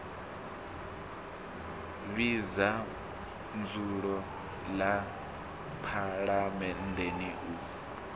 vhidza dzulo ḽa phaḽamennde u